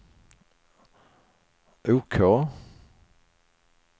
OK